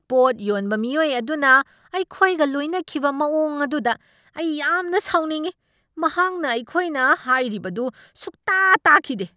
ꯄꯣꯠ ꯌꯣꯟꯕ ꯃꯤꯑꯣꯏ ꯑꯗꯨꯅ ꯑꯩꯈꯣꯏꯒ ꯂꯣꯏꯅꯈꯤꯕ ꯃꯑꯣꯡ ꯑꯗꯨꯗ ꯑꯩ ꯌꯥꯝꯅ ꯁꯥꯎꯅꯤꯡꯢ, ꯃꯍꯥꯛꯅ ꯑꯩꯈꯣꯏꯅ ꯍꯥꯏꯔꯤꯕꯗꯨ ꯁꯨꯡꯇꯥ ꯇꯥꯈꯤꯗꯦ꯫